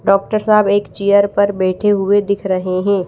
Doctor साहब एक chair पर बैठे हुए दिख रहे हैं।